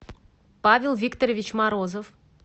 павел викторович морозов